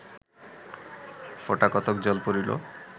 ফোঁটাকতক জল পড়িল